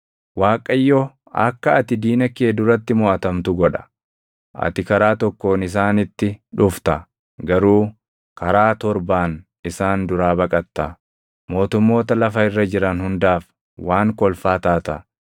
Waaqayyo akka ati diina kee duratti moʼatamtu godha. Ati karaa tokkoon isaanitti dhufta; garuu karaa torbaan isaan duraa baqatta; mootummoota lafa irra jiran hundaaf waan kolfaa taata.